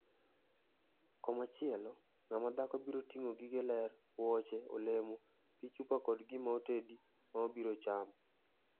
Komachielo, ngama dhako biro tingo gige ler, wuoche, olemo, pi chupa kod gima otedi ma obiro chamo.